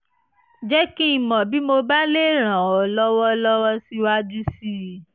jẹ́ kí n mọ̀ bí mo bá lè ràn ọ́ lọ́wọ́ lọ́wọ́ síwájú sí i